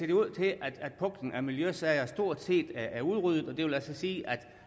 det ud til at puklen af miljøsager stort set er udryddet og det vil altså sige